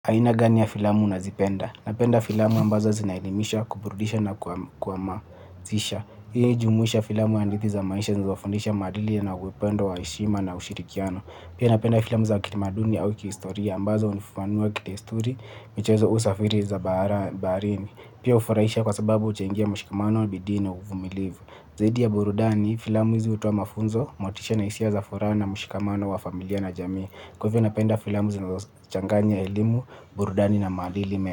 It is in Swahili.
Aina gani ya filamu unazipenda? Napenda filamu ambazo zinaelimisha, kuburudisha na kwa mazisha. Hii jumuhisha filamu ya andithi za maisha zinofundisha madili yanagwependo wa eshima na ushirikiano. Pia napenda filamu za kitamaduni au kihistoria ambazo unifuanua kitesturi, michezo usafiri za barini. Pia ufuraisha kwa sababu uchengia mshikamano, bidi na, uvumilivu. Zaidi ya burudani, filamu hizi utowa mafunzo, motisha na isia za fura na mshikamano wa familia na jami. Kwa hiyo napenda filamu zinazochanganya elimu, burudani na maadili me.